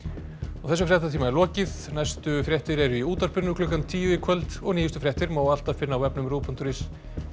þessum fréttatíma er lokið næstu fréttir eru í útvarpinu klukkan tíu í kvöld og nýjustu fréttir má alltaf finna á vefnum ruv punktur is